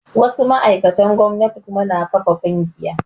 Wasu ma'aikatan gomnati kuma na ƙafa ƙungiya